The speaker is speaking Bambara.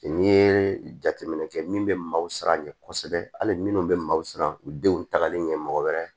N'i ye jateminɛ kɛ min bɛ maaw siran ɲɛ kɔsɛbɛ hali minnu bɛ maaw siran u denw tagali ɲɛ mɔgɔ wɛrɛ